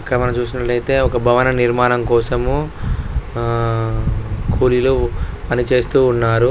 ఇక్కడ మనము చూసినాట్లయితే ఒక భవన నిర్మాణం కోసము కూలీలు పని చేస్తూ ఉన్నారు.